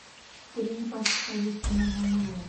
три пачки хозяйственного мыла